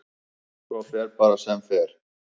Svo fer bara sem fer.